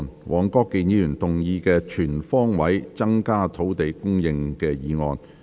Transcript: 黃國健議員動議的"全方位增加土地供應"議案。